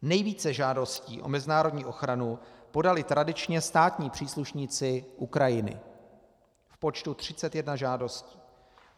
Nejvíce žádostí o mezinárodní ochranu podali tradičně státní příslušníci Ukrajiny v počtu 31 žádostí.